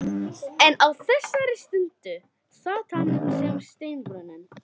En á þessari stundu sat hann sem steinrunninn.